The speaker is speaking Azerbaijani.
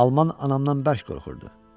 Alman anamdan bərk qorxurdu.